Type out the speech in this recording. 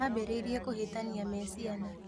Mambĩrĩirie kũhĩtania me ciana